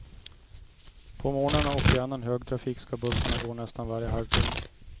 På morgnarna och i annan högtrafik ska bussarna gå nästan varje halvtimme.